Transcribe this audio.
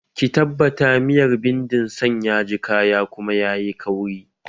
Ki tabbata miyar bindin san yaji kaya kuma yayi kauri!